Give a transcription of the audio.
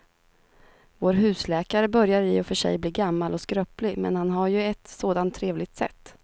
Vår husläkare börjar i och för sig bli gammal och skröplig, men han har ju ett sådant trevligt sätt!